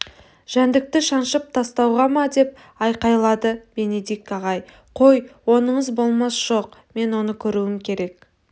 жәндікті жаншып тастауға ма деп айқайлады бенедикт ағай қой оныңыз болмас жоқ мен оны көруім керек